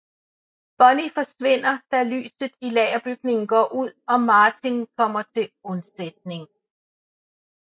Bonnie forsvinder da lyset i lagerbygningen går ud og Martin kommer til undsætning